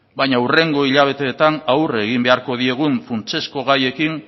baina hurrengo hilabeteetan aurre egin beharko diegun funtsezko gaiekin